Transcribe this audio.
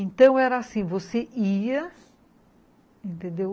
Então era assim, você ia, entendeu?